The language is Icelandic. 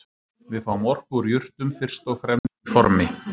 Við fáum orku úr jurtum fyrst og fremst í formi